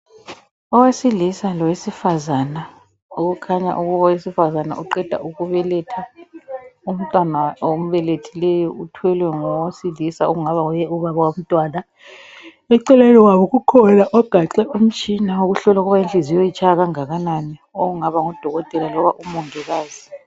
Owesilisa lowesifazana. Okukhanya ukuthi owesifazana uqeda ukubeletha. Umntwana ombelethileyo uthwelwe ngowesilisa okungaba nguye ubaba womntwana . Ekucineni kwabo kukhona ogaxe umtshina ohlola inhliziyo ukubana itshaya kangakanani. Okungaba ngudokotela loba umongikazi.